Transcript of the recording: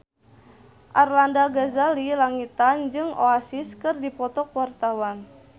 Arlanda Ghazali Langitan jeung Oasis keur dipoto ku wartawan